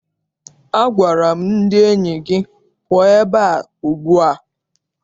Agwara m ndị enyi gị, pụọnụ ebea ugbu a!